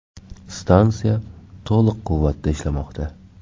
Stansiya to‘liq quvvatda ishlamoqda.